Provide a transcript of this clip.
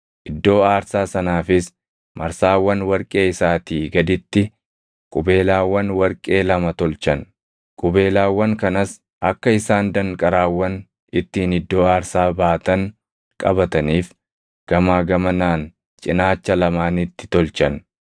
Iddoo aarsaa sanaafis marsaawwan warqee isaatii gaditti qubeelaawwan warqee lama tolchan; qubeelaawwan kanas akka isaan danqaraawwan ittiin iddoo aarsaa baatan qabataniif gamaa gamanaan cinaacha lamaanitti tolchan.